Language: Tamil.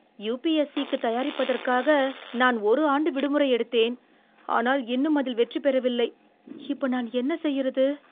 யுபிஎஸ்ஸிக்குத் தயாரிப்பதற்காக நான் ஒரு ஆண்டு விடுமுறை எடுத்தேன். ஆனால், இன்னும் அதில் வெற்றி பெறவில்லை. இப்ப, நான் என்ன செய்யுறது?